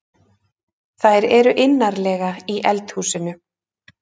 Þær eru innarlega í eldhúsinu.